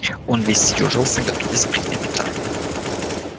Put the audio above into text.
он весь съёжился готовясь принять удар